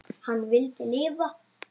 Hann vildi lifa.